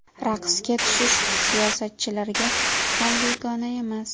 Raqsga tushish siyosatchilarga ham begona emas.